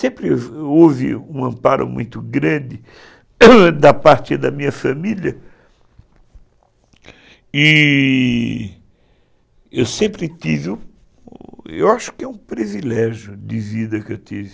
Sempre houve um amparo muito grande da parte da minha família e eu sempre tive, eu acho que é um privilégio de vida que eu tive.